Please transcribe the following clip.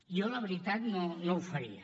jo la veritat no ho faria